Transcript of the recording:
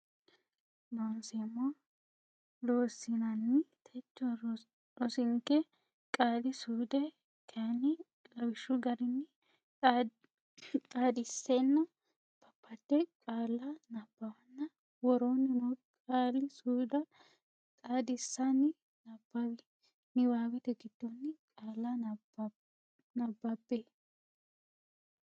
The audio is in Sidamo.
Looseemmo Loossinanni techo rosinke qaali suude kayinni lawishshu garinni xaadisenna babbade qaalla nabbawanna woroonni noo qaali suudda xaadissinanni nabbawe niwaawete giddonni qaalla nabbabbe.